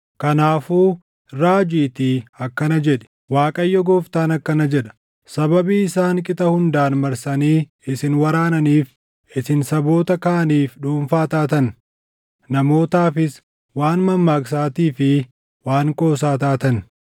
Kanaafuu raajiitii akkana jedhi; ‘ Waaqayyo Gooftaan akkana jedha: Sababii isaan qixa hundaan marsanii isin waraananiif, isin saboota kaaniif dhuunfaa taatan; namootaafis waan mammaaksaatii fi waan qoosaa taatan;